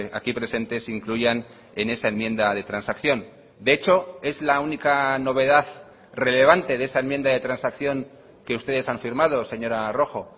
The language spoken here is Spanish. aquí presentes incluyan en esa enmienda de transacción de hecho es la única novedad relevante de esa enmienda de transacción que ustedes han firmado señora rojo